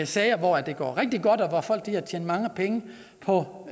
sager hvor det går rigtig godt og hvor folk har tjent mange penge på